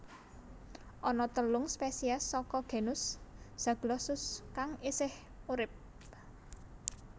Ana telung spesies saka genus Zaglossus kang isih urip